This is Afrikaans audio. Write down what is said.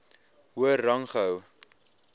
hoër rang gehou